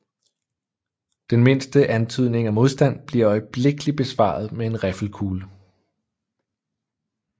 Den mindste antydning af modstand bliver øjeblikkelig besvaret med en riffelkugle